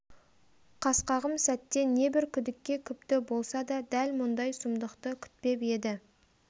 қасқағым сәтте небір күдікке күпті болса да дәл мұндай сұмдықты күтпеп еді